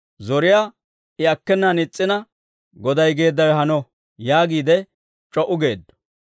Zoriyaa I akkenaan is's'ina, «Goday geeddawe hano» yaagiide c'o"u geeddo.